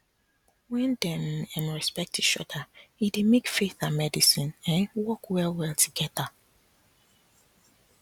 when dem um respect each other e dey make faith and medicine um work well well together